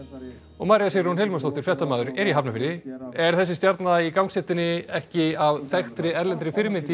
og María Sigrún Hilmarsdóttir fréttamaður er í Hafnarfirði er þessi stjarna í gangstéttinni ekki af þekktri erlendri fyrirmynd